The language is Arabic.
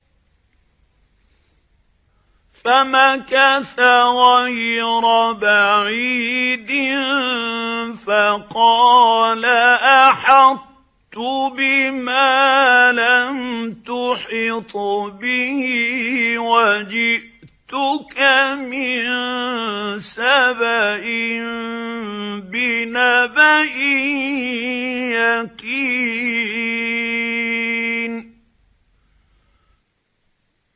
فَمَكَثَ غَيْرَ بَعِيدٍ فَقَالَ أَحَطتُ بِمَا لَمْ تُحِطْ بِهِ وَجِئْتُكَ مِن سَبَإٍ بِنَبَإٍ يَقِينٍ